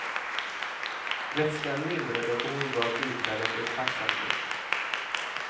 Vätskan lindrade och hon gav biträdet en tacksam blick.